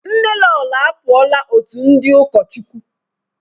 Nnelolo apụọla otu ndị ụkọchukwu.